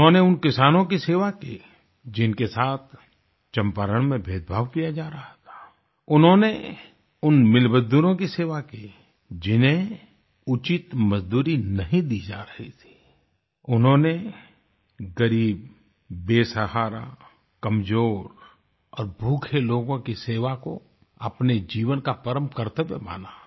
उन्होंने उन किसानों की सेवा की जिनके साथ चम्पारण में भेदभाव किया जा रहा था उन्होंने उन मिल मजदूरों की सेवा की जिन्हें उचित मजदूरी नहीं दी जा रही थी उन्होंने ग़रीब बेसहारा कमजोर और भूखे लोगों की सेवा को अपने जीवन का परम कर्तव्य माना